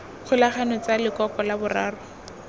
kgolagano tsa lekoko la boraro